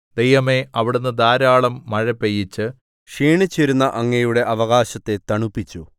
ദൈവമേ അവിടുന്ന് ധാരാളം മഴ പെയ്യിച്ച് ക്ഷീണിച്ചിരുന്ന അങ്ങയുടെ അവകാശത്തെ തണുപ്പിച്ചു